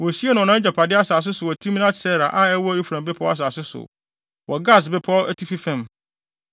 Wosiee no wɔ nʼagyapade asase so wɔ Timnat-Sera a ɛwɔ Efraim bepɔw asase so, wɔ Gaas Bepɔw atifi fam.